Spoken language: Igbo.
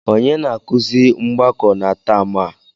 Onye na-akụzi mgbakọ na taam a?